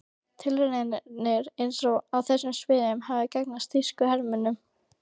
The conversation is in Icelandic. Tilraunir hans á þessu sviði hefðu gagnast þýska hernum.